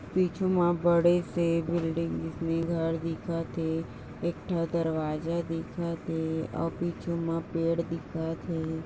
पीछू मा बड़े से बिल्डिंग जितनी घर दिखत है एक दरवाजा दिखत है और पीछू मा पेड़ दिखत है।